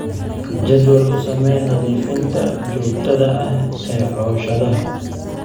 Jadwal u samee nadiifinta joogtada ah ee cooshadaha.